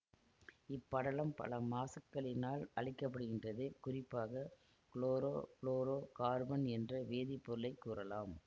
இப்படலம் பல மாசுக்களினால் அழிக்கப்படுகின்றது குறிப்பாக குளோரோ ஃபுளோரோ கார்பன் என்ற வேதிப்பொருளைக் கூறலாம்